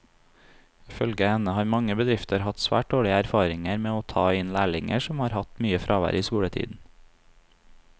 Ifølge henne har mange bedrifter hatt svært dårlige erfaringer med å ta inn lærlinger som har hatt mye fravær i skoletiden.